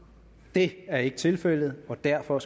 det er ikke tilfældet og derfor